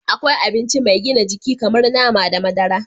Akwai abinci mai gina jiki kamar nama da madara